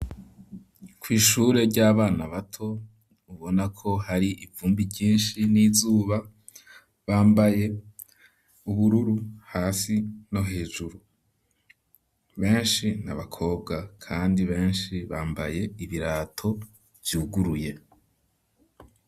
Kw'ishure ry'abana bato, ubona ko hari ivumbi ryinshi n'izuba, bambaye ubururu hasi no hejuru, benshi ni abakobwa kandi benshi bambaye ibirato vyuguruye.